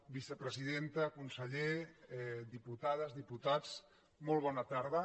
vicepresidenta conse·ller diputades diputats molt bona tarda